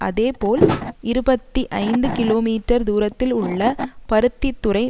அதே போல் இருபத்தி ஐந்து கிலோமீட்டர் தூரத்தில் உள்ள பருத்தித்துறை